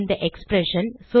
அந்த எக்ஸ்பிரஷன்